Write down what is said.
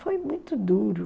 Foi muito duro.